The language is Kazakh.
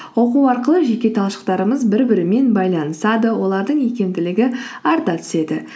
оқу арқылы жеке талшықтарымыз бір бірімен байланысады олардың икемділігі арта түседі